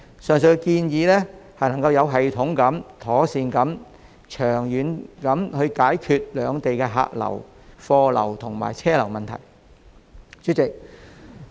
上述建議能有系統地、妥善地及長遠地解決兩地的客流、貨流及車流問題。